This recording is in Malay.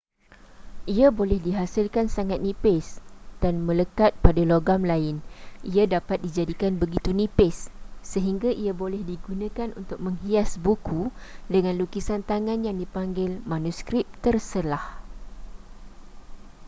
ia boleh dihasilkan sangat nipis dan melekat pada logam lain ia dapat dijadikan begitu nipis sehingga ia boleh digunakan untuk menghias buku dengan lukisan tangan yang dipanggil manuskrip terselah